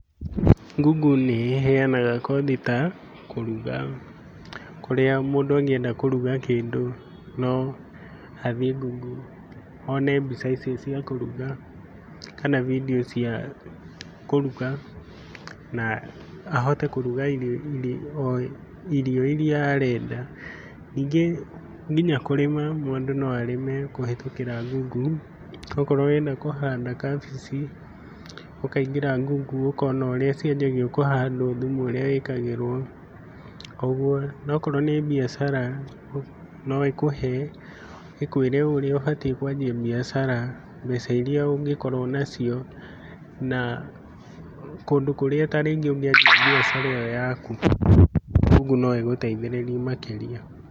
Google nĩ ĩheanaga kothi ta kũruga kũrĩa mũndũ angĩenda kũruga kĩndũ no athiĩ Google one mbica icio cia kũrũga kana vidio cia kũruga na ahote kũruga irio iria arenda, ningĩ nginya kũrĩma mũndũ no arĩme kũhĩtũkĩra google okorwo ũrenda kũhanda kabĩci ũkaingĩra Google ũkona ũrĩa cianjagio kũhandwo, thumu ũrĩa wĩkagĩrwo nokorwo nĩ biacara no ĩkũĩre ũrĩa ũbatie kwanjĩa biacara ,mbeca iria ũngĩkorwo nacio na kũndũ ta kũrĩa ũngĩanjia biacara iyo yaku Google no igũteithĩrĩrie makĩrĩa.